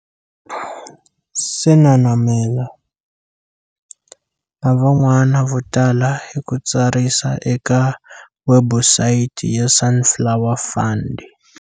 Senamela na van'wana vo tala hi ku tsarisa eka webusayiti ya Sunflower Fund.